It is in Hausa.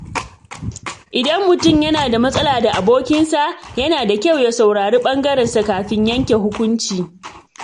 Idan mutum yana da matsala da abokinsa, yana da kyau ya saurari bangarensa kafin yanke hukunci.